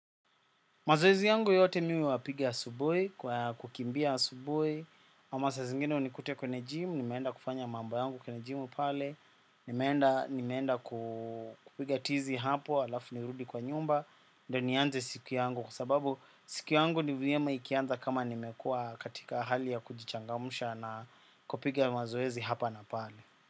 Mazoezi yangu yote mimi huya pigia asubuhi, kwa kukimbia asubuhi, ama sa zingine unikute kwenye gym, nimeenda kufanya mambo yangu kwenye gym pale, nimeenda kupiga tizi hapo, alafu nirudi kwa nyumba, ndo nianze siku yangu kwa sababu siku yangu ni vyema ikianza kama nimekua katika hali ya kujichangamsha na kupiga mazoezi hapa na pale.